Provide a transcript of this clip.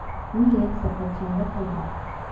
मी एक सफरचंद खाल्ला.